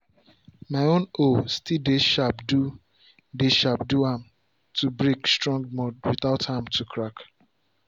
my own hoe still dey sharp do dey sharp do am to break strong mud without am to crack.